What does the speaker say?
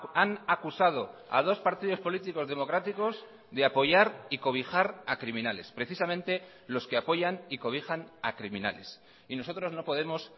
han acusado a dos partidos políticos democráticos de apoyar y cobijar a criminales precisamente los que apoyan y cobijan a criminales y nosotros no podemos